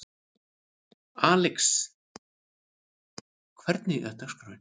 Alexis, hvernig er dagskráin?